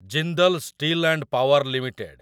Jindal steel and power limited